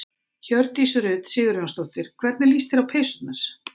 Hjördís Rut Sigurjónsdóttir: Hvernig líst þér á peysurnar?